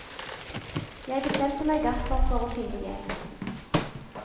Jeg bestemte meg derfor for å finne hjelp.